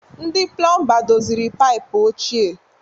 Ndị Pụlọmba doziri paịpụ ochie.